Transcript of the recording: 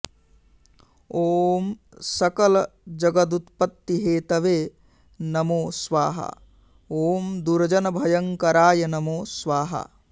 ॐ सकलजगदुत्पत्तिहेतवे नमो स्वाहा ॐ दुर्जनभयङ्कराय नमो स्वाहा